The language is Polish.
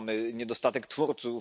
Mamy niedostatek twórców?